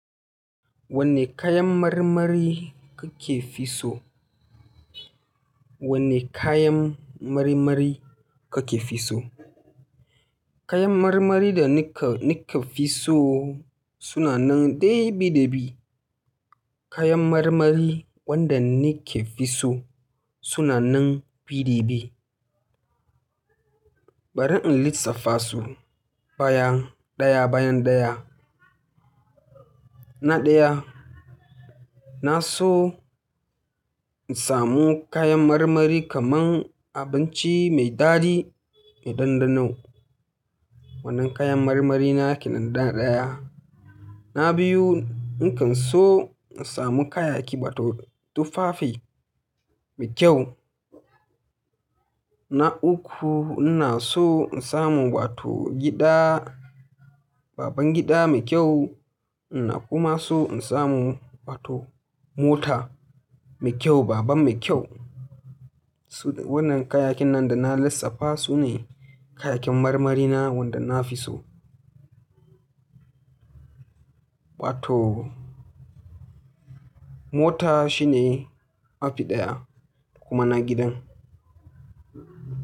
Wane kayan marmari kake fi so? Wane kayan marmari kake fi so? Kayan marmari da nika, nika fi so suna nan ɗebi-ɗebi. Kayan marmari wanda ni ke fi so suna nan PDB. Bari in lissafa su bayan ɗaya bayan ɗaya. Na ɗaya, na so in samu kayan marmari kaman abinci mai daɗi, mai dandano. Wannan kayan marmari na kenan ɗadaya. Na biyu, inkan so in samu kayayyaki, bato tufafi mai kyau. Na uku, ina so in samu bato gida, baban gida mai kyau, ina kuma so in samu bato mota mai kyau, baban mai kyau. Su wannan kayakin nan da na lissafa sune kayakin marmari na wanda na fi so. Bato mota shine mafi ɗaya kuma na gidan.